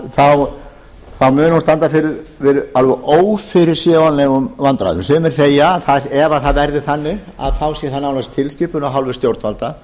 þá muni hún standa fyrir ófyrirsjáanlegum vandræðum sumir segja að ef það verði þannig sé það nánast tilskipun af hálfu stjórnvalda